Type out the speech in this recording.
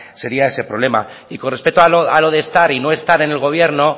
sería ese problema y con respecto a lo de estar y no estar en el gobierno